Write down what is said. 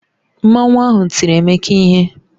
Mmanwu ahụ tiri Emeka ihe